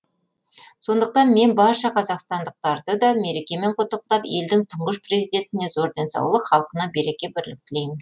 сондықтан мен барша қазақстандықтарды да мерекемен құттықтап елдің тұңғыш президентіне зор денсаулық халқына береке бірлік тілеймін